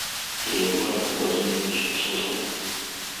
егора владимировича суслова